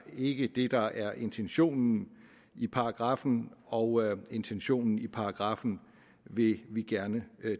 ikke det der er intentionen i paragraffen og intentionen i paragraffen vil vi gerne